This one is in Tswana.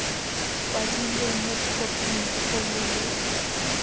kwadilwe mo khophing kgolo le